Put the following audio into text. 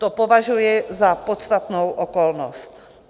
To považuji za podstatnou okolnost.